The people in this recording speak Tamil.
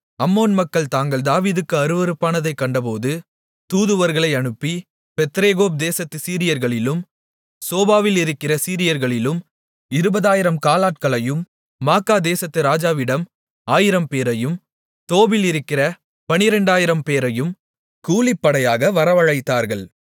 அம்மோன் மக்கள் தாங்கள் தாவீதுக்கு அருவருப்பானதைக் கண்டபோது தூதுவர்களை அனுப்பி பெத்ரேகோப் தேசத்துச் சீரியர்களிலும் சோபாவிலிருக்கிற சீரியர்களிலும் 20000 காலாட்களையும் மாக்காதேசத்து ராஜாவிடம் 1000 பேரையும் தோபிலிருக்கிற 12000 பேரையும் கூலிப்படையாக வரவழைத்தார்கள்